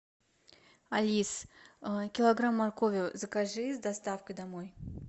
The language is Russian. алис килограмм моркови закажи с доставкой домой